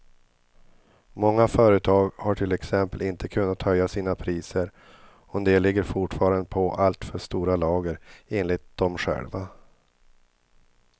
Många företag har till exempel inte kunnat höja sina priser och en del ligger fortfarande på allt för stora lager, enligt dem själva.